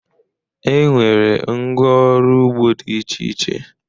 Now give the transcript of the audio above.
E nwere ngwá ọrụ ugbo dị iche iche.